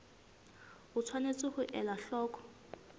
o tshwanetse ho ela hloko